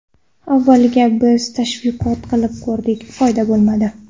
Avvaliga biz tashviqot qilib ko‘rdik, foyda bo‘lmadi.